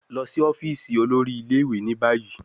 Lọ si ọfiisi olori ile-iwe ni bayi